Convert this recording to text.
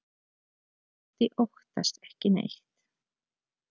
Otti óttast ekki neitt!